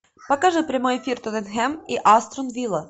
покажи прямой эфир тоттенхэм и астон вилла